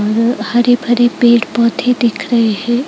हरे हरे पेड़ पौधे दिख रहे हैं।